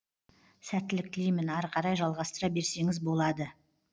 сәттілік тілеймін ары қарай жалғастыра берсеңіз болады